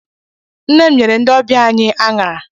Nne m nyere ndị ọbịa anyị aṅara.